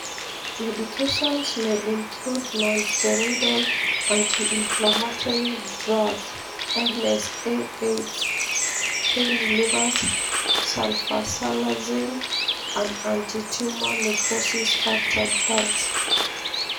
Medications may include nonsteroidal anti inflammatory drugs (NSAIDs); pain relievers; sulfasalazine; and anti tumor necrosis factor drugs.